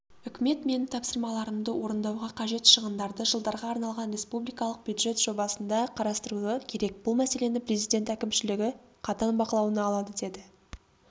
үкімет менің тапсырмаларымды орындауға қажет шығындарды жылдарға арналған республикалық бюджет жобасында қарастыруы керек бұл мәселені президент әкімшілігі қатаң бақылауына алады деді